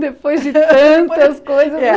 Depois de tantas coisas.